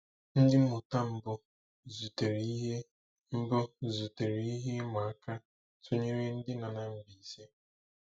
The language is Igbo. Ndị mmụta mbụ zutere ihe mbụ zutere ihe ịma aka tunyere ndị nọ na Mbaise.